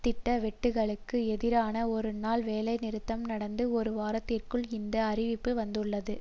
திட்ட வெட்டுகளுக்கு எதிரான ஒரு நாள் வேலைநிறுத்தம் நடந்து ஒரு வாரத்திற்குள் இந்த அறிவிப்பு வந்துள்ளது